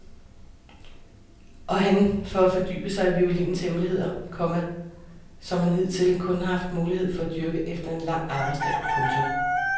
Og han for at fordybe sig i violinens hemmeligheder, komma som han hidtil kun har haft mulighed for at dyrke efter en lang arbejdsdag. punktum